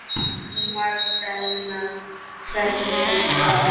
Magdalena, hvernig kemst ég þangað?